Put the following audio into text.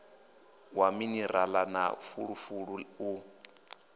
wa minirala na fulufulu u